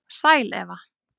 Sæl Eva